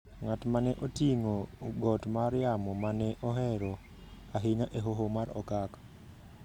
ng’at ma ne oting’o got mar yamo ma ne ohero ahinya e Hoho mar Okak